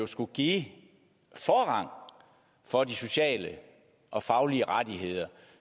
skulle give forrang for de sociale og faglige rettigheder